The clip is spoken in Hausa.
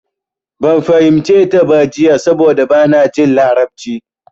Ban fahimce ta ba jiya saboda bana jin larabci.